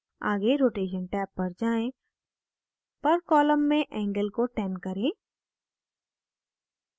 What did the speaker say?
आगे rotation tab पर जाएँ per column में angle को 10 करें